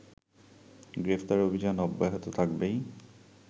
গ্রেফতার অভিযান অব্যাহত থাকবেই